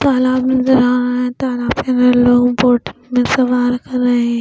तालाब नजर आ रहा है तालाब में लोग बोट में सवार कर रहे हैं.